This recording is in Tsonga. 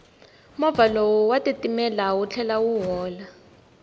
moya lowu wa titimela wu tlhela wu hola